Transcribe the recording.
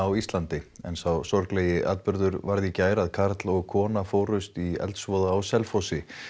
á Íslandi en sá sorglegi atburður varð í gær að karl og kona fórust í eldsvoða á Selfossi